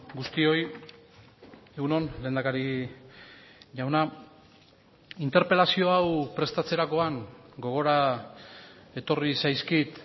guztioi egun on lehendakari jauna interpelazio hau prestatzerakoan gogora etorri zaizkit